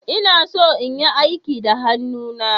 Ina so in yi aiki da hannuna.